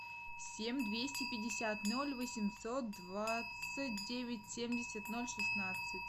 семь двести пятьдесят ноль восемьсот двадцать девять семьдесят ноль шестнадцать